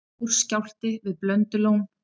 Stór skjálfti við Blöndulón